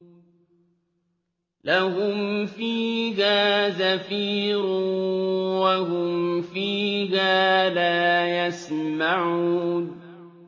لَهُمْ فِيهَا زَفِيرٌ وَهُمْ فِيهَا لَا يَسْمَعُونَ